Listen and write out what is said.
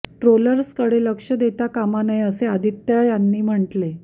ट्रोलर्सकडे लक्ष देता कामा नये असे आदित्य यांनी म्हटले